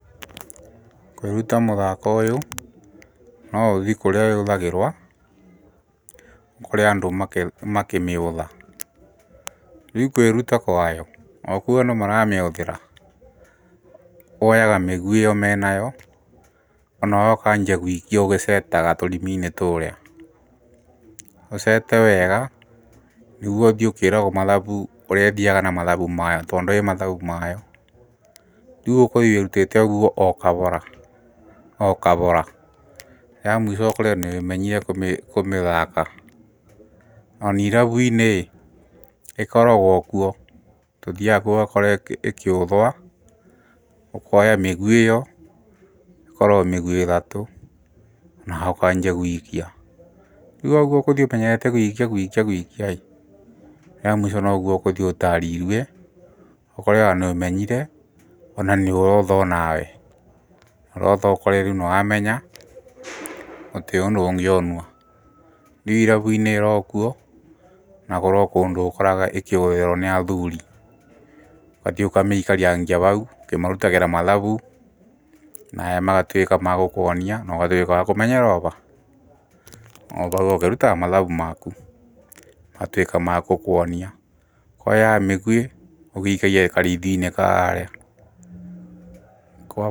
Kwĩruta mũthako ũyũ noũthi kũrĩa yũthagĩrwa, ũkore andũ makĩmĩũtha, rĩu kwĩruta kwayo, ũkuona maramĩhũthĩra, woyaga mĩguĩ ĩyo menayo, onawe ũkanjia guikia ũgecetaga tũrima-inĩ tũrĩa, ũcete wega nĩguo ũthiĩ ũkĩragwo mathabu ũrĩa ĩthiaga na mathabu mayo tondũ ĩ mathabu mayo, rĩu ũkũthiĩ wirutĩte ũguo o kabora o kabora rĩa mũico ũkore nĩũmenyire kũmĩthaka, onirabu-inĩ ĩkorogwo kuo tũthiaga kuo ũgakora ĩkĩũthwa, ukoya mĩguĩ ĩyo, ĩkoragwo mĩguĩ ĩtatũ nawe ũkanjia guikia rĩu ũkũthiĩ ũmenyete guikia guikiaĩ rĩa mũico noguo ũkũthiĩ ũtarĩirwe ũkore ona nĩũmenyire, ona nĩũrotha onawe, ũrothe ũkore nĩwamenya ,gũtĩrĩ ũndũ ũngĩonua, rĩu irabu-inĩ ĩrokuo na kũrĩo kũndũ ũkoraga ĩkĩbũthĩrwo nĩ athuuri, ũgathiĩ ũkamĩikarangia bau, ũkĩmarutagĩra mathabu, naya magatuĩka magũkuonia ũgatuĩka wa kũmenyera oba? Obau ũkĩrutaga mathabu maku, matuĩka makũkuonia oya mĩguĩ ũgĩikagia karithu-inĩ kaarĩa...